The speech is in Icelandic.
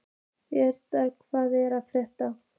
Végeir, hvað er að frétta?